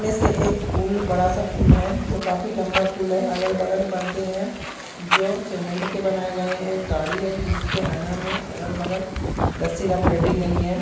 इस में से एक पूल बडा सा पूल है जो काफी लम्बा पूल है अगल-बगल परदे है जो सीमेन्ट के बनाए गए हैएक गाड़ी है। जिस के आईना में अगल-बगल रस्सी लपेटी गई है।